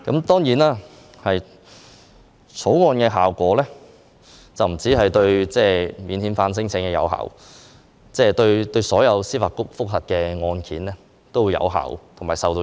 當然，《條例草案》不單影響免遣返聲請，也影響所有司法覆核案件。